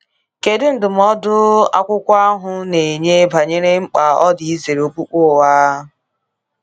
Kedu ndụmọdụ akwụkwọ ahụ na-enye banyere mkpa ọ dị izere okpukpe ụgha?